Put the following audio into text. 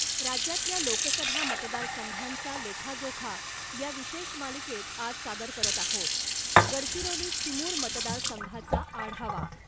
राज्यातल्या लोकसभा मतदार संघांचा लेखाजोखा या विशेष मालिकेत आज सादर करत आहोत गडचिरोली चिमूर मतदार संघाचा आढावा